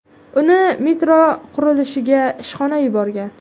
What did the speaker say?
Uni metro qurilishiga ishxonasi yuborgan.